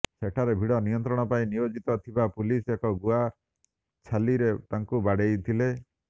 ସେଠାରେ ଭିଡ଼ ନିୟନ୍ତ୍ରଣ ପାଇଁ ନିୟୋଜିତ ଥିବା ପୁଲିସ ଏକ ଗୁଆ ଛାଲିରେ ତାଙ୍କୁ ବାଡେଇଥିଲେ